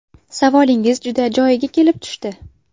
Savolingiz juda joyiga kelib tushdi.